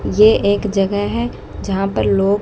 ये एक जगह है जहां पर लोग--